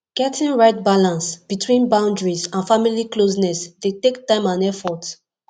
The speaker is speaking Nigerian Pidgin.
getting right balance between boundaries and family closeness dey take time and effort